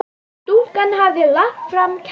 Stúlkan hafði lagt fram kæru.